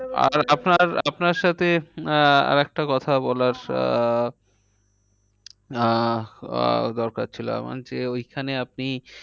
আপনার সাথে আহ আর একটা কথা আহ আহ দরকার ছিল আমার যে ওইখানে আপনি